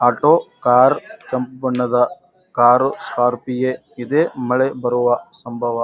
auto car ಕಪ್ಪ್ ಬಣ್ಣದ car ಸ್ಕ್ರಾಪಿಯೇ ಇದೆ ಮಳೆ ಬರುವ ಸಂಭವ --